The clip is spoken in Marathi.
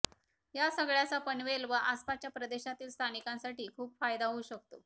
या सगळ्याचा पनवेल व आसपासच्या प्रदेशातील स्थानिकांसाठी खूप फायदा होऊ शकतो